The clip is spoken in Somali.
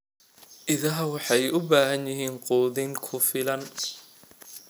Idaha waxay u baahan yihiin quudin ku filan.